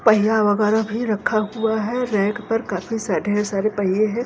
पहिया वगैरह भी रखा हुआ है रैक पर काफी सा ढेर सारे पहिए हैं।